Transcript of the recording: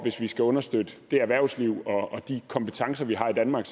skal understøtte det erhvervsliv og de kompetencer vi har i danmark